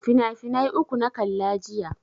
Finafinai uku na kalla jiya.